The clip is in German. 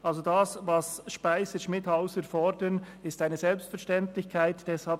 Also ist das eine Selbstverständlichkeit, was Speiser/Schmidhauser fordern.